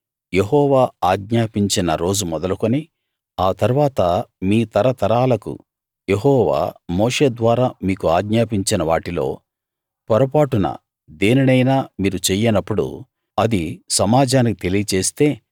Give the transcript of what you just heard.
యెహోవా ఆజ్ఞాపించిన రోజు మొదలుకుని ఆ తరువాత మీ తరతరాలకు యెహోవా మోషే ద్వారా మీకు ఆజ్ఞాపించిన వాటిలో పొరపాటున దేనినైనా మీరు చెయ్యనప్పుడు అది సమాజానికి తెలియజేస్తే